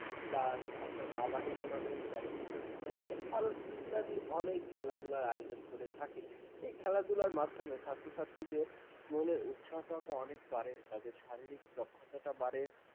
plus আপনার kabadi tournament, badminton tournament আরো ইত্যাদি অনেক খেলাধুলার আয়োজন করে থাকে এই খেলাধুলার মাধ্যমে ছাত্র-ছাত্রীদের উৎসাহটা অনেক বারে তাদের শারীরিক দক্ষতা বাড়ে ।